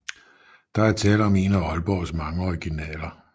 Der er tale om en af Aalborgs mange originaler